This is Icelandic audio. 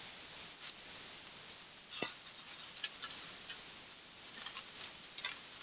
Af hverju ertu svona þrjóskur, Galti?